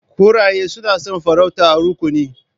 Kuraye suna son farauta a rukuni.